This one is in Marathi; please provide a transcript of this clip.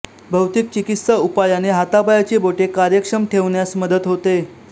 भौतिक चिकित्सा उपायाने हाता पायाची बोटे कार्यक्षम ठेवण्यास मदत होते